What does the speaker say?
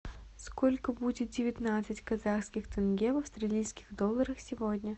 сколько будет девятнадцать казахских тенге в австралийских долларах сегодня